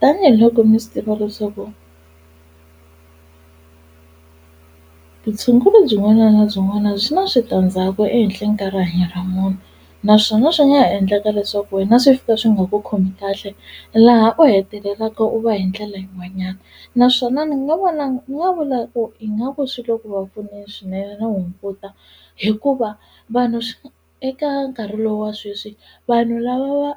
Tanihi loko mi swi tiva leswaku vutshunguri byin'wana na byin'wana byi na switandzhaku ehenhleni ka rihanyo ra munhu naswona swi nga ha endleka leswaku wena swi fika swi nga ku khomi kahle laha u hetelelaka u va hi ndlela yin'wanyana naswona ni nga vona ni nga vula ku ingaku swi le ku va pfuneni swinene na hunguta hikuva vanhu eka nkarhi lowa sweswi vanhu lava va